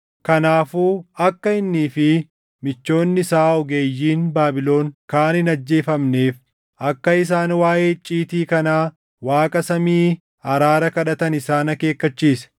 Kanaafuu akka innii fi michoonni isaa ogeeyyiin Baabilon kaan hin ajjeefamneef akka isaan waaʼee icciitii kanaa Waaqa samii araara kadhatan isaan akeekkachiise.